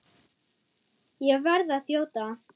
Ég verð að þjóta.